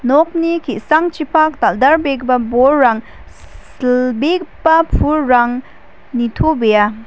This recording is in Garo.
nokni ki·sangchipak dal·dalbegipa bolrang silbegipa pulrang nitobea.